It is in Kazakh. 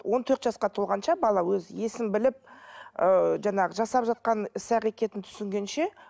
он төрт жасқа толғанша бала өзі есін біліп ііі жаңағы жасап жатқан іс әрекетін түсінгенше